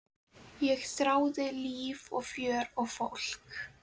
Ég þráði líf og fjör og fólk.